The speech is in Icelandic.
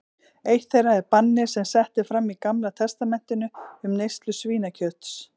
Eitt þeirra er bannið sem sett er fram í Gamla testamentinu um neyslu svínakjöts.